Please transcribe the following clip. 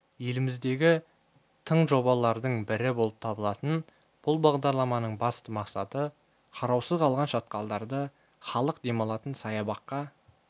еліміздегі тың жобалардың бірі болып табылатын бұл бағдарламаның басты мақсаты қараусыз қалған шатқалдарды халық демалатын саябаққа